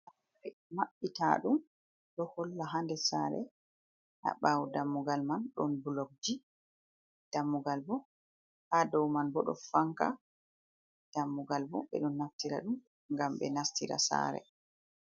Ɓe maɓɓita ɗum ɗo holla haa nder sare haa ɓawo dammugal man ɗon bulokji, dammugal bo haa dow man bo ɗon fanka. Dammugal bo ɓe ɗon naftira ɗum ngam ɓe nastira saare.